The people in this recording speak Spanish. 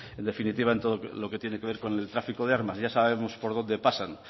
en definitiva en todo lo que tiene que ver con el tráfico de armas ya sabemos por dónde pasan